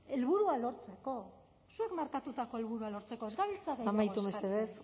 helburua lortzeko zuek markatutako helburua lortzeko ez gabiltza amaitu mesedez